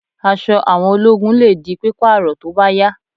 Aṣọ àwọn ológun lè di pípààrọ̀ tó bá yá